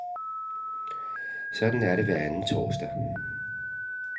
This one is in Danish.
Sådan er det hver anden torsdag.